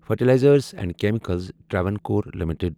fertilizers and chemicals Travancore limited